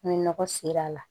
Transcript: Ni nɔgɔ ser'a la